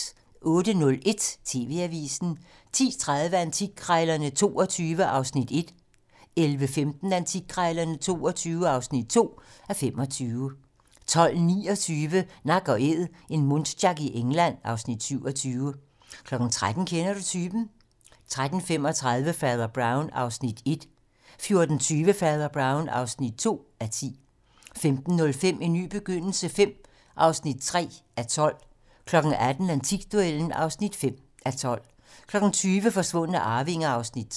08:01: TV-Avisen 10:30: Antikkrejlerne XXII (1:25) 11:15: Antikkrejlerne XXII (2:25) 12:29: Nak & Æd - en muntjac i England (Afs. 27) 13:00: Kender du typen? 13:35: Fader Brown (1:10) 14:20: Father Brown (2:10) 15:05: En ny begyndelse V (3:12) 18:00: Antikduellen (5:12) 20:00: Forsvundne arvinger (Afs. 3)